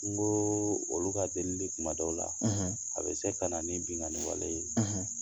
N ko olu ka delili kumadaw la a bɛ se ka na ni bingani wale ye